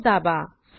Ctrl S दाबा